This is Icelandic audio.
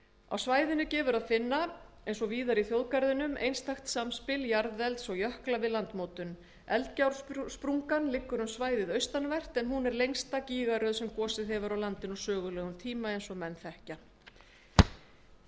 á svæðinu gefur að finna eins og víðar í þjóðgarðinum einstakt samspil jarðelds og jökla við landmótun eldgjársprungan liggur um svæðið austanvert en hún er lengsta gígaröð sem gosið hefur á landinu á sögulegum tíma langisjór sjálfur er þekktur fyrir náttúrufegurð